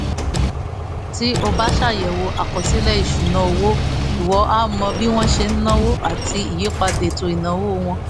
tí o bá ṣàyẹ̀wò àkọsílẹ̀ ìṣúnná owó ìwọ á mọ bí wọ́n ṣe ń náwó àti ìyípadà ètò ìnáwó wọn